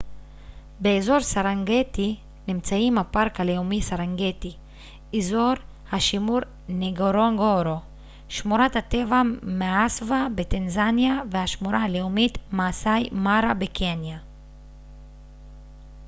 באזור סרנגטי נמצאים הפארק הלאומי סרנגטי אזור השימור נגורונגורו שמורת הטבע מאסווה בטנזניה והשמורה הלאומית מאסאי מארה בקניה